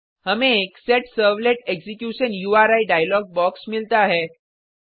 हमें एक set servlet execution उरी डायलॉग बॉक्स मिलता है